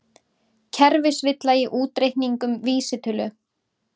Kerfisvilla í útreikningum vísitölu